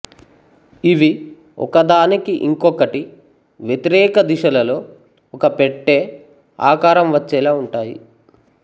ఇవి ఒకదానికి ఇంకొకటి వ్యతిరేక దిశలలో ఒక పెట్టె ఆకారం వచ్చేలా ఉంటాయి